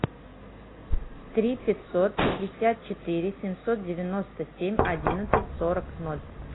три пятьсот пятьдесят четыре семьсот девяносто семь одиннадцать сорок ноль